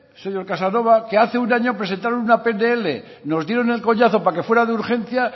señor casanova que hace un año presentaron una pnl nos dieron el coñazo para que fuera de urgencia